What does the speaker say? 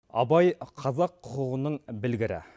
абай қазақ құқығының білгірі